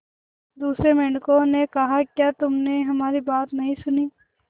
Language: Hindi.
दूसरे मेंढकों ने कहा क्या तुमने हमारी बात नहीं सुनी